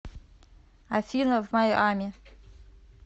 афина в майами